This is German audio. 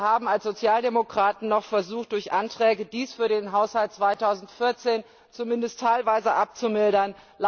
Wir haben als Sozialdemokraten noch versucht, durch Anträge dies für den Haushalt 2014 zumindest teilweise abzumildern.